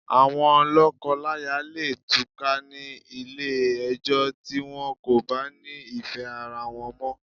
Àwon lọ̀kọ láya leè túká ni Ilé ẹjọ́ ti wọ́n ko bá ni ìfẹ́ ara wọ́n mọ́